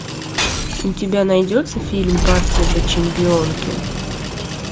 у тебя найдется фильм партия для чемпионки